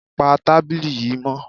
Pa tábìlì yìí mọ́!